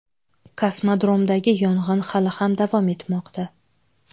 Kosmodromdagi yong‘in hali ham davom etmoqda.